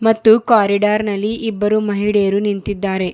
ಮತ್ತು ಕಾರಿಡಾರ್ ನಲ್ಲಿ ಇಬ್ಬರು ಮಹಿಳೆಯರು ನಿಂತಿದ್ದಾರೆ.